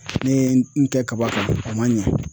Ne ye n kɛ kaba kan a man ɲɛ